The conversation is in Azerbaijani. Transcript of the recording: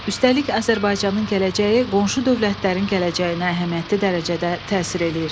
Üstəlik, Azərbaycanın gələcəyi qonşu dövlətlərin gələcəyinə əhəmiyyətli dərəcədə təsir eləyir.